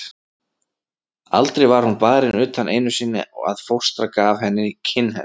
Aldrei var hún barin utan einu sinni að fóstra gaf henni kinnhest.